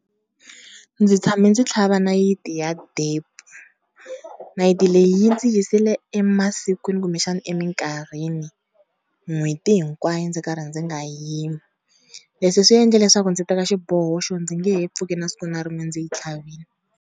Ndzi tshame ndzi tlhava nayiti ya depo, nayiti leyi yi ndzi yisile emasikwini kumbexana eminkarhini n'hweti hinkwayo, ndzi karhi ndzi nga yimi leswi swi endle leswaku ndzi teka xiboho xo ndzi nge he pfuki na siku na rin'we ndzi yi tlhavile.